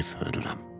Ev hörürəm.